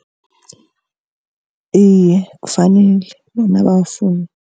Iye, kufanele bona bawufune